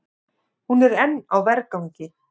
Hún er enn á vergangi.